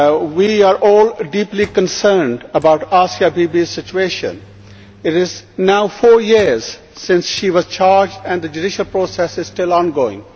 We are all deeply concerned about Asia Bibi's situation. It is now four years since she was charged and the judicial process is still ongoing.